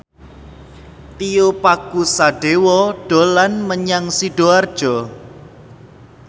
Tio Pakusadewo dolan menyang Sidoarjo